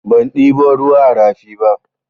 Ban ɗebo ruwa a rafi ba.